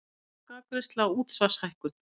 Lokaafgreiðsla á útsvarshækkun